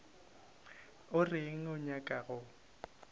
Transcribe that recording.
o reng o nyaka go